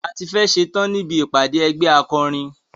A tí fẹ́ ẹ̀ ṣetán níbi ìpàdé ẹgbẹ́ akọrin.